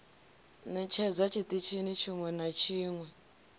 ṋetshedzwa tshiṱitshini tshiṅwe na tshiṅwe